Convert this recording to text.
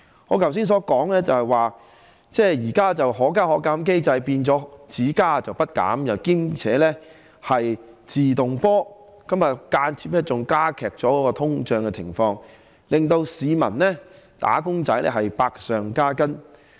我剛才提到現在的"可加可減"機制變為"只加不減"，而且是"自動波"地加價，間接加劇通脹，令市民和"打工仔"百上加斤。